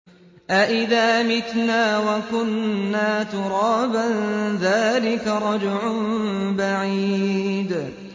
أَإِذَا مِتْنَا وَكُنَّا تُرَابًا ۖ ذَٰلِكَ رَجْعٌ بَعِيدٌ